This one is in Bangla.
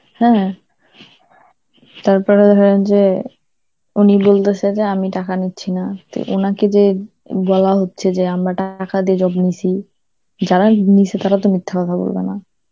হ্যাঁ, তারপরে হয় যে উনি বলতাছে যে আমি টাকা নিচ্ছি না, তো উনাকে যে উম বলা হচ্ছে যে আমরা টাকা দিয়ে job নিসি, যারাই নিয়েছে তারা তো মিথ্যে কথা বলবে না.